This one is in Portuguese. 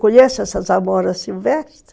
Conhece essas amoras silvestres?